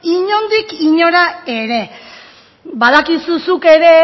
inondik inora ere badakizu zuk ere